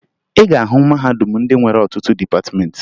Ị ga-ahụ mahadum ndị nwere ọtụtụ dịpatịmeentị